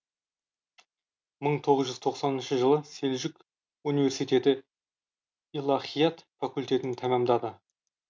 мың тоғыз жүж тоқсаныншы жылы селжұқ университеті илахият факультетін тәмамдады